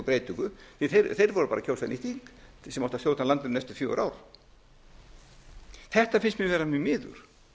breytingu því þeir voru bara að kjósa nýtt þing sem átti að stjórna landinu næstu fjögur ár þetta finnst mér vera mjög miður